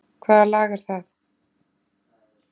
Hvaða lag er það?